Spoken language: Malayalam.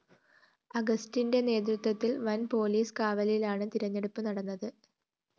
അഗസ്റ്റിന്റെ നേതൃത്വത്തില്‍ വന്‍ പോലീസ് കാവലിലാണ് തെരഞ്ഞെടുപ്പ് നടന്നത്